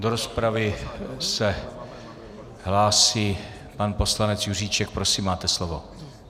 Do rozpravy se hlásí pan poslanec Juříček, prosím, máte slovo.